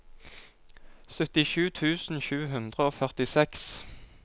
syttisju tusen sju hundre og førtiseks